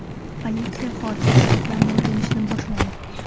Politsiya hodisa sabablarini o‘rganishni boshladi.